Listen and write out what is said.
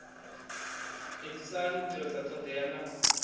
edzisani u tevhedza thodea na